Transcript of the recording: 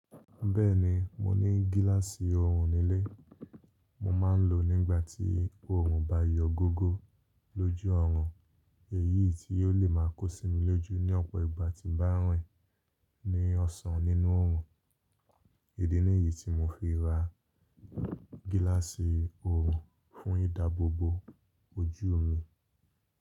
Bẹ́ẹ̀ni, mo ní gíláàsì ọrùn nílé. Mo máa ń lò ó nígbà tí ọrùn bá yọ gógó lójú ọorùn, èyí tí yóò le máa kó sí mi lójú ní ọ̀pọ̀ ìgbà tí ń bá rìn ní ọ̀sán nínú ọrùn. Idí ni yíi tí mo fi ra gíláàsì ọrùn fún ìdáàbò bo ojú mi.